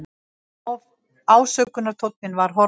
Ásökunartónninn var horfinn.